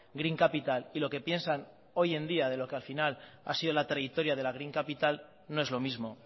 green capital y lo que piensan hoy en día de lo que al final ha sido la trayectoria de la green capital no es lo mismo